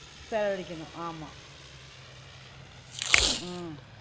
விசாரிக்கணு ஆமா ஆஹ்